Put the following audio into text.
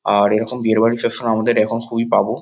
আর এরকম বিয়েবাড়ি সবসময় আমাদের এখন খুবই পাব ।